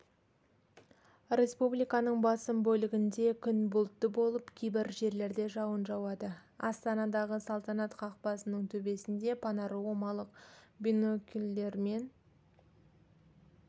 республиканың басым бөлігінде күн бұлтты болып кейбір жерлерде жауын жауады астанадағы салтанат қақпасының төбесінде панорамалық бинокльдермен